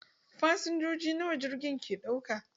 Fasinjoji nawa jirgin ke ɗaukawa?